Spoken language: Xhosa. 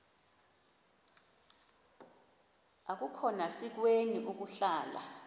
akukhona sikweni ukuhlala